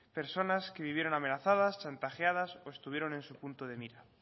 personas que vivieron amenazadas chantajeadas o estuvieron en su punto de mira